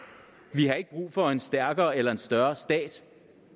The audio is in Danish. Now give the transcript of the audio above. vi har ikke brug for en stærkere eller en større stat